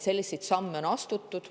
Selliseid samme on astutud.